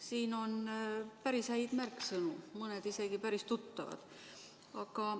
Siin on päris häid märksõnu, mõned isegi päris tuttavad.